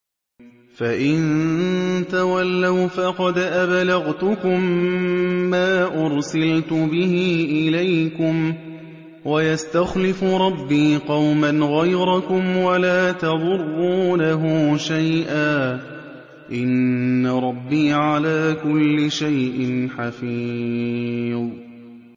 فَإِن تَوَلَّوْا فَقَدْ أَبْلَغْتُكُم مَّا أُرْسِلْتُ بِهِ إِلَيْكُمْ ۚ وَيَسْتَخْلِفُ رَبِّي قَوْمًا غَيْرَكُمْ وَلَا تَضُرُّونَهُ شَيْئًا ۚ إِنَّ رَبِّي عَلَىٰ كُلِّ شَيْءٍ حَفِيظٌ